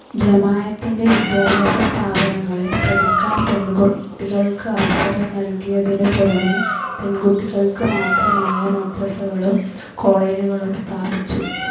ജമായത്തിൻ്റെ വിദ്യാഭ്യാസ സ്ഥാപനങ്ങളിൽ പഠിക്കാൻ പെൺകുട്ടികൾക്ക് അവസരം നൽകിയതിനു പുറമേ പെൺകുട്ടികൾക്ക് മാത്രമായ മദ്രസകളും കോളേജുകളും സ്ഥാപിച്ചു.